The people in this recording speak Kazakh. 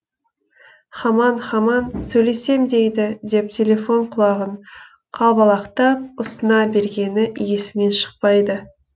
хамаң хамаң сөйлесем дейді деп телефон құлағын қалбалақтап ұсына бергені есімнен шықпайды